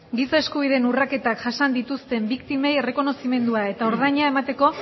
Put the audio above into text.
giza eskubideen urraketak jasan dituzten biktimei errekonozimendua eta ordaina emateko